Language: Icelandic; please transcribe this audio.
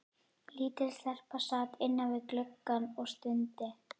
Lítil stelpa sat innan við gluggann og stundi.